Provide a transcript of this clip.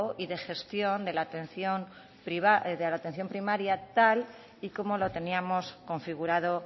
y de gestión de la atención primaria tal y como lo teníamos configurado